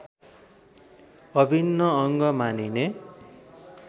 अभिन्न अङ्ग मानिने